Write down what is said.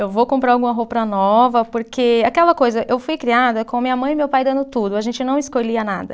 Eu vou comprar alguma roupa nova, porque aquela coisa, eu fui criada com minha mãe e meu pai dando tudo, a gente não escolhia nada.